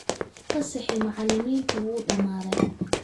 Fasaxii macallimiinta wuu dhammaaday.